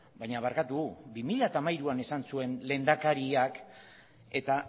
baina barkatu bi mila hamairuan esan zuen lehendakariak eta